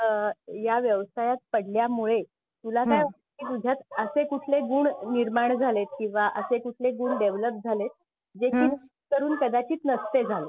आह या व्यवसायात पडल्या मुळे तुला काय तुझ्यात असे कुठले गुण निर्माण झालेत किंवा असे कुठले गुण डेवलप झालेत जे नोकरीने कदाचित नसते झाले?